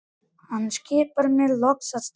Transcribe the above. Hann skipar mér loks að stoppa.